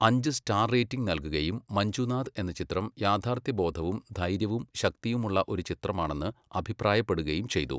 അഞ്ച് star rating നൽകുകയും മഞ്ജുനാഥ് എന്ന ചിത്രം യാഥാർത്ഥ്യബോധവും ധൈര്യവും ശക്തിയുമുള്ള ഒരു ചിത്രമാണെന്ന് അഭിപ്രായപ്പെടുകയും ചെയ്തു.